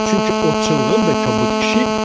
Çünki o çılğın və qorxuducu kobud idi.